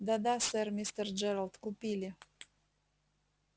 да да сэр мистер джералд купили